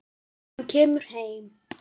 Hann kemur heim.